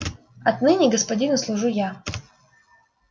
отныне господину служу я